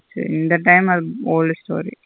இந்த time அது old story.